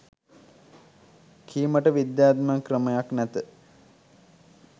කීමට විද්‍යාත්මක ක්‍රමයක් නැත.